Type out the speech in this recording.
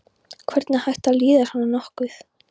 Hvernig er hægt að líða svona nokkuð?